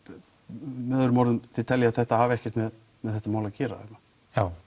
með öðrum orðum þið teljið að þetta hafi ekkert með þetta mál að gera já